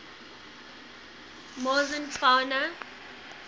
morrison fauna